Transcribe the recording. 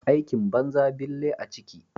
Aikin banza bille a ciki.